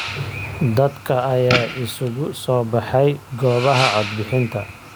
Dadka ayaa isugu soo baxay goobaha cod bixinta.